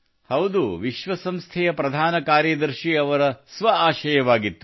ಹೌದು ವಿಶ್ವಸಂಸ್ಥೆಯ ಪ್ರಧಾನ ಕಾರ್ಯದರ್ಶಿ ಅವರ ಸ್ವಆಶಯವಾಗಿತ್ತು